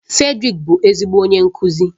Fredrick bụ ezigbo onye nkuzi